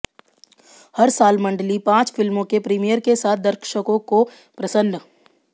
हर साल मंडली पांच फिल्मों के प्रीमियर के साथ दर्शकों को प्रसन्न